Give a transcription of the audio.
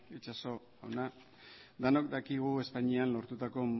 itxaso jauna denok dakigu espainian lortutako